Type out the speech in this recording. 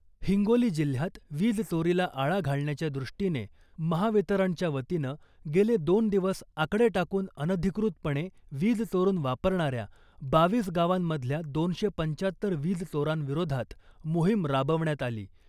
हिंगोली जिल्ह्यात वीज चोरीला आळा घालण्याच्या दृष्टिने महावितरणच्या वतीनं गेले दोन दिवस आकडे टाकून अनधिकृतपणे वीज चोरून वापरणाऱ्या बावीस गावांमधल्या दोनशे पंचात्तर वीज चोरांविरोधात मोहीम राबवण्यात आली .